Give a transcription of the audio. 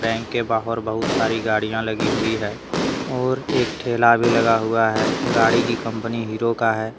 Bank के बाहर बहुत सारी गाड़िया लगी हुई है और एक ठेला भी लगा हुआ है गाड़ी की कंपनी हीरो का है।